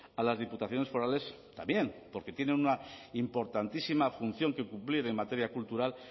a las diputaciones forales también porque tienen una importantísima función que cumplir en materia cultural